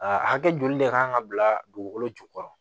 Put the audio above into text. Aa hakɛ joli de kan ka bila dugukolo jukɔrɔ